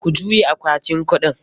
Ku juye akwatin kuɗin!